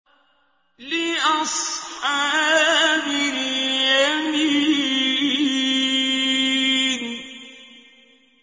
لِّأَصْحَابِ الْيَمِينِ